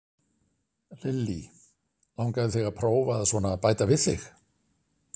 Lillý: Langaði þig að prófa að svona bæta við þig?